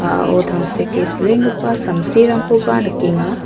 a·ao tangseke silenggipa samsirangkoba nikenga.